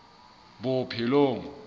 bophelong